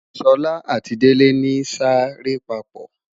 Sola ati Dele ni sa re papo